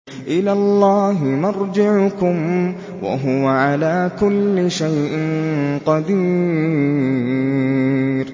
إِلَى اللَّهِ مَرْجِعُكُمْ ۖ وَهُوَ عَلَىٰ كُلِّ شَيْءٍ قَدِيرٌ